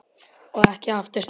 Og ekki aftur snúið.